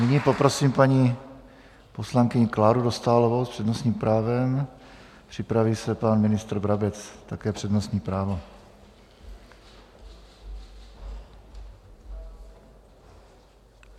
Nyní poprosím paní poslankyni Kláru Dostálovou s přednostním právem, připraví se pan ministr Brabec, také přednostní právo.